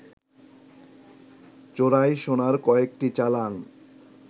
চোরাই সোনার কয়েকটি চালান